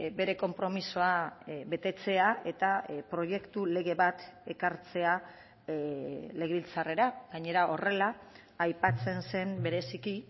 bere konpromisoa betetzea eta proiektu lege bat ekartzea legebiltzarrera gainera horrela aipatzen zen bereziki